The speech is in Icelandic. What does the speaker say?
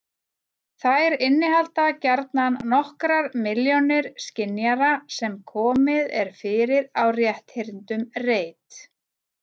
þær innihalda gjarnan nokkrar milljónir skynjara sem komið er fyrir á rétthyrndum reit